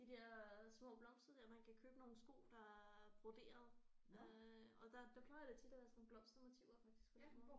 De der små blomster der man kan købe nogle sko der er broderede øh og der der plejer det tit at være sådan nogle blomstermotiver faktisk fordi